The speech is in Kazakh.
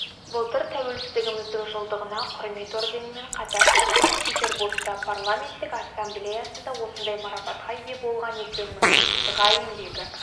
былтыр тәуелсіздігіміздің жылдығына құрмет орденімен қатар санкт-петербургта парламенттік ассамблеясында осындай марапатқа ие болған екенмін ға еңбегі